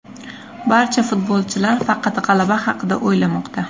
Barcha futbolchilar faqat g‘alaba haqida o‘ylamoqda.